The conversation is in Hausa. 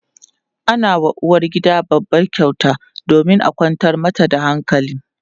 ana wa uwargida babban kyauta domin a kwantar mata da hankali